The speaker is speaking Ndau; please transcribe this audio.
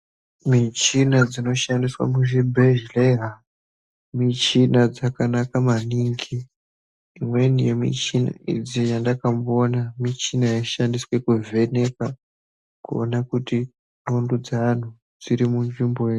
Michina dzino shandiswa mu zvibhedhleya michina dzakanaka maningi imweni ye michina idzi yandaka mboona michina yai shandiswe ku vheneka kuona kuti ndxondo dze antu dziri mu nzvimbo ere.